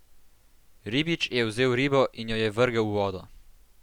Ribič je vzel ribo in jo je vrgel v vodo.